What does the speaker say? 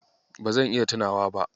Ba zan iya tunawa ba.